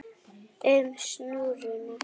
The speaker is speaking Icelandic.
um og snúrum.